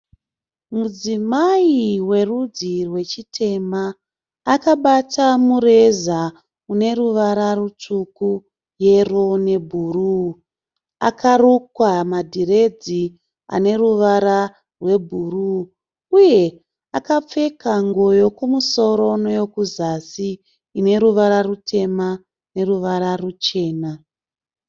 Mudzimai werudzi rwechitema akabata mureza une ruvara rutsvuku, yeroo nebhuruu. Akarukwa madhiredzi ane ruvara rwebhuruu uye akapfeka nguwo yekumusoro neyekuzasi ine ruvara rutema neruvara ruchena.